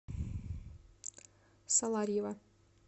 саларьево